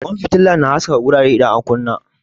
Kwan fitila na haskaka wurare idan an kunna.